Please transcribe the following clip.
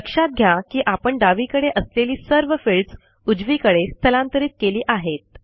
लक्षात घ्या की आपण डावीकडे असलेली सर्व फील्ड्स उजवीकडे स्थलांतरित केली आहेत